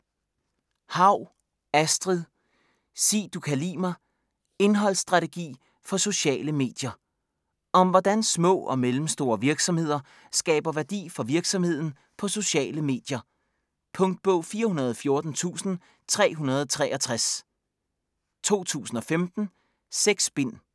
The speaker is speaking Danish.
Haug, Astrid: Sig du kan li' mig: indholdsstrategi for sociale medier Om hvordan små og mellemstore virksomheder skaber værdi for virksomheden på sociale medier. Punktbog 414363 2015. 6 bind.